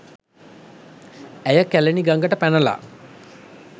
ඇය කැලණි ගඟට පැනලා